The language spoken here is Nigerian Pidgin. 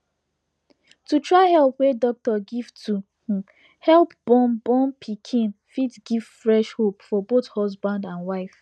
to try help wey doctor give to um help born born pikin fit give fresh hope for both husband and wife